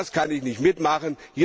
Das kann ich nicht mitmachen!